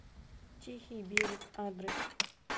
тихий берег адрес